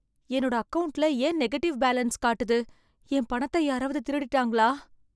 என்னோட அக்கவுண்ட்ல ஏன் நெகட்டிவ் பேலன்ஸ் காட்டுது? என் பணத்தை யாராவது திருடிட்டாங்களா?